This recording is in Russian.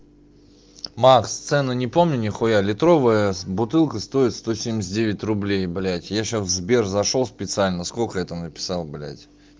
макс цены не помню ни хуя литровая бутылка стоит сто семьдеят девять рублей блядь я сейчас в сбер зашёл специально сколько я там написал блядь